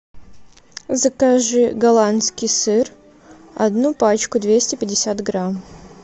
закажи голландский сыр одну пачку двести пятьдесят грамм